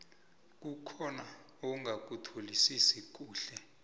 kukhona ongakutholisisi kuhle